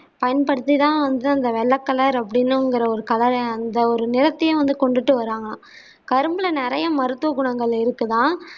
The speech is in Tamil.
பயன்படுத்தி தான் வந்து அந்த வெள்ளை கலர் அப்பிடிங்கிற ஒரு color யும் அந்த ஒரு நிறத்தையும் கொண்டுடுட்டு வராங்கலாம் கரும்புல நிறைய மருத்துவ குணங்கள் இருக்குதாம்